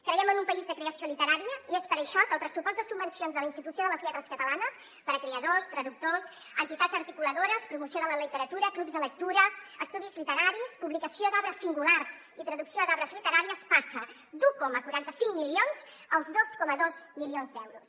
creiem en un país de creació literària i és per això que el pressupost de subvencions de la institució de les lletres catalanes per a creadors traductors entitats articuladores promoció de la literatura clubs de lectura estudis literaris publicació d’obres singulars i traducció d’obres literàries passa d’un coma quaranta cinc milions als dos coma dos milions d’euros